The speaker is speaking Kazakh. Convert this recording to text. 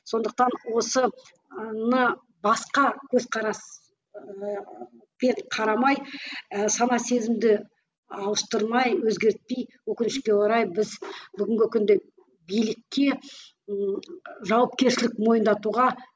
сондықтан осыны басқа көзқарас қарамай ы сана сезімді ауыстырмай өзгертпей өкінішке біз орай бүгінгі күнде билікке ііі жауапкершілік мойындатуға